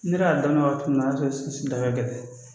Ne yɛrɛ y'a daminɛ waati min na o y'a sɔrɔ sinsin daga gɛlɛn